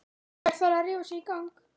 Hver þarf að rífa sig í gang?